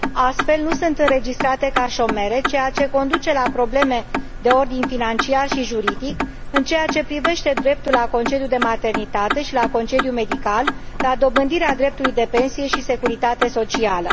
astfel, nu sunt înregistrate ca șomere, ceea ce conduce la probleme de ordin financiar și juridic în ceea ce privește dreptul la concediu de maternitate și la concediu medical, la dobândirea dreptului de pensie și securitate socială.